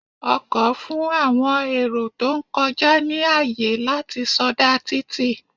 Ọkọ̀ fún àwọn èrò tó ń kọjá ní àyè láti sọdá títì.